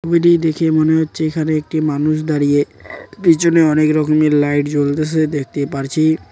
দেখে মনে হচ্ছে এখানে একটি মানুষ দাঁড়িয়ে পিছনে অনেক রকমের লাইট জ্বলতাসে দেখতে পারছি।